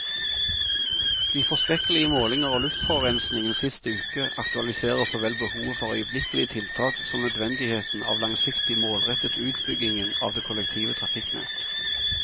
De forskrekkelige målinger av luftforurensningen sist uke aktualiserer såvel behovet for øyeblikkelige tiltak som nødvendigheten av langsiktig, målrettet utbyggingen av det kollektive trafikknett.